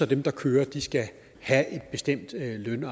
dem der kører skal have bestemte løn